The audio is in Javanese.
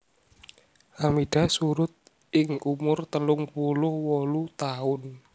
Hamidah surud ing umur telung puluh wolu taun